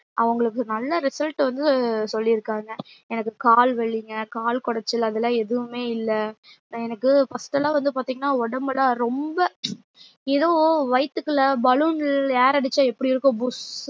அவங்களுக்கு நல்ல result வந்து சொல்லிருக்காங்க எனக்கு கால் வலிங்க கால் கொடைச்சல் அதுலா எதுவுமே இல்ல எனக்கு first லா வந்து பாத்திங்கன்னா ஒடம்புலா ரொம்ப ஏதோ வைத்துக்குள்ள balloon air அடிச்சா எப்டி இருக்கும் புஸ்